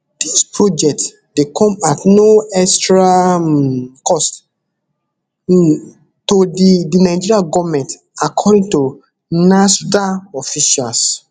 dis project dey come at no extra um cost um to di di nigeria goment according to nasrda officials